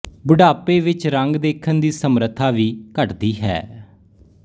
ਬੁਢਾਪੇ ਵਿਚ ਰੰਗ ਦੇਖਣ ਦੀ ਸਮਰੱਥਾ ਵੀ ਘਟਦੀ ਹੈ